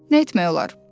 Nə etmək olar?